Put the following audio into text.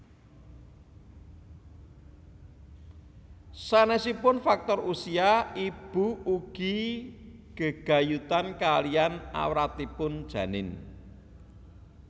Sanésipun faktor usia ibu ugi gegayutan kaliyan awratipun janin